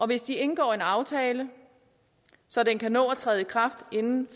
hvis de indgår en aftale så den kan nå at træde i kraft inden